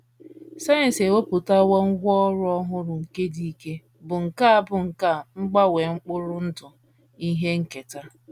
Sayensị ewepụtawo ngwá ọrụ ọhụrụ nke dị ike, bụ́ nkà bụ́ nkà mgbanwe mkpụrụ ndụ ihe nketa.